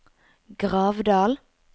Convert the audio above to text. Gravdal